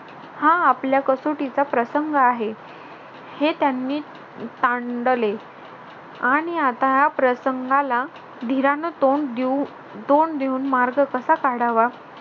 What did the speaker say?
हा आपल्या कसोटीचा प्रसंग आहे हे त्यांनी तांडले. आणि आता या प्रसंगाला धीरान तोंड देऊन तोंड देऊन मार्ग कसा काढावा